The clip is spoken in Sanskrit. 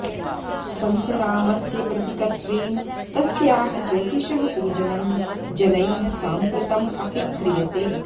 सन्तरामस्य प्रतिकत्वेन तस्याः ज्योतिषः पूजनं जनैः साम्प्रतम् अपि क्रियते